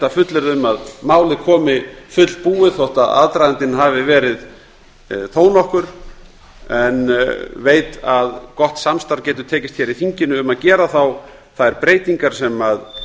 að fullyrða um að málið komi fullbúið þótt aðdragandinn hafi verið þó nokkur en veit að gott samstarf getur tekist hér í þinginu um að gera þá þær breytingar sem